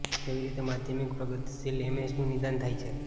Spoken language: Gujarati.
કેવી રીતે માધ્યમિક પ્રગતિશીલ એમએસનું નિદાન થાય છે